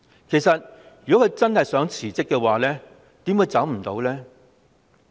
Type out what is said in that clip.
其實如果她真心想辭職，怎會辭不了？